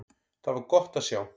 Það var gott að sjá.